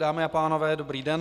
Dámy a pánové, dobrý den.